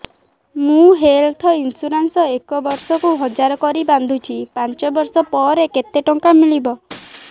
ମୁ health insurance ଏକ ବର୍ଷକୁ ହଜାର କରି ବାନ୍ଧୁଛି ପାଞ୍ଚ ବର୍ଷ ପରେ କେତେ ଟଙ୍କା ମିଳିବ